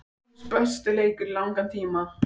Hans besti leikur í langan tíma.